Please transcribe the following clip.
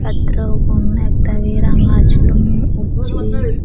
satro gun ekdagi ranga sulum ussey.